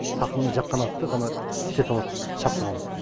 тақымына жаққан атты ғана істете алатта шаптыра алады